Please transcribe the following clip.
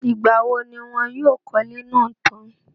ìgbà wo ni wọn yóò kọ́lé náà tán?